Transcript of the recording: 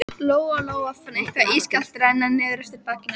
Lóa Lóa fann eitthvað ískalt renna niður eftir bakinu á sér.